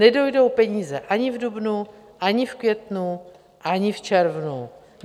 Nedojdou peníze ani v dubnu, ani v květnu, ani v červnu.